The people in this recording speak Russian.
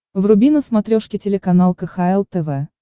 вруби на смотрешке телеканал кхл тв